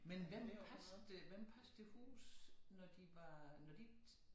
Men hvem passede de hvem passede de huse når de var når de ikke